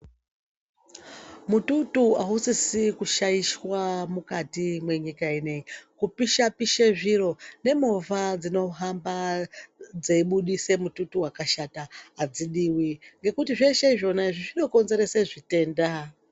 Mututu ausisi kushaishwa mukati mwenyika ineyi. Kupisha-pisha zviro, nemovha dzinohamba dzeibudise mututu waakashata adzidziwi, ngekuti zveshe zvonaizvi, zvinokonzeresa zvitenda.